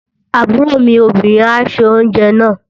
Àbúrò mi obìnrin á se oúnjẹ náà.